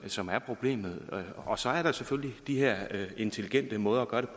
som er problemet og så er der selvfølgelig de her intelligente måder